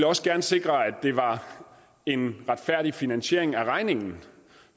også gerne sikre at det var en retfærdig finansiering af regningen